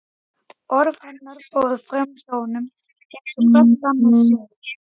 Orð hennar fóru framhjá honum eins og hvert annað suð.